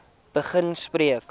begin gesprekke